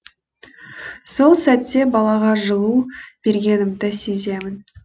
сол сәтте балаға жылу бергенімді сеземін